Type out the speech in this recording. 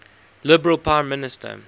liberal prime minister